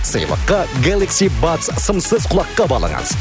сыйлыққа гелакси бадс сымсыз құлаққап алыңыз